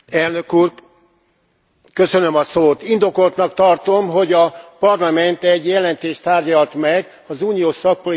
Indokoltnak tartom, hogy a Parlament egy jelentést tárgyalt meg az uniós szakpolitika városi dimenziójával kapcsolatban.